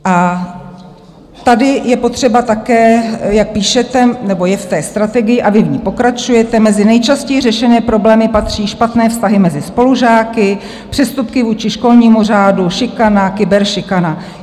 A tady je potřeba také, jak píšete, nebo je v té strategii, a vy v ní pokračujete, "mezi nejčastěji řešené problémy patří špatné vztahy mezi spolužáky, přestupky vůči školnímu řádu, šikana, kyberšikana".